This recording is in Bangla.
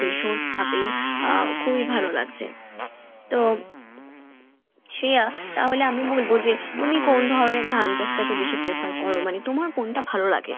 ভীষণ ভাবেই আহ খুবই ভালো লাগছে, তো শ্রেয়া তাহলে আমি বলবো যে তুমি কোন ধরনের ধান চাষ টাকে বেশি prefer করো? মানে তোমার কোনটা ভালো লাগে?